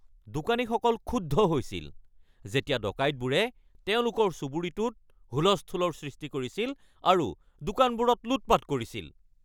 দোকানীসকল ক্ষুব্ধ হৈছিল যেতিয়া ডকাইতবোৰে তেওঁলোকৰ চুবুৰীটোত হুলস্থূলৰ সৃষ্টি কৰিছিল আৰু দোকানবোৰত লুটপাত কৰিছিল।